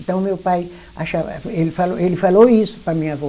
Então, meu pai achava, ele falou, ele falou isso para a minha avó.